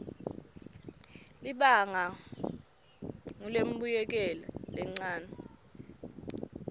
libangwa ngulembuyekelo lencane